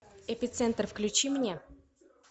эпицентр включи мне